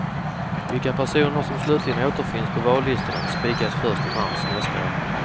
Vilka personer som slutligen återfinns på vallistorna spikas först i mars nästa år.